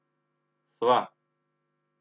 Sva.